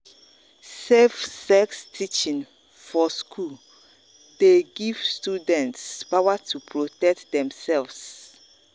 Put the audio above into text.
safe sex teaching for school dey give students power to protect themselves.